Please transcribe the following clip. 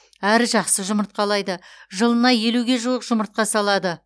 әрі жақсы жұмыртқалайды жылына елуге жуық жұмыртқа салады